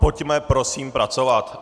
Pojďme prosím pracovat!